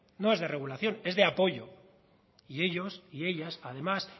no es de regulación es de apoyo y ellos y ellas además